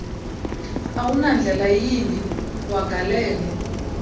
awunandlela yimbi wagalele